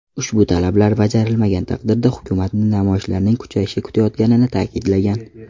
Ushbu talablar bajarilmagan taqdirda hukumatni namoyishlarning kuchayishi kutayotganini ta’kidlagan.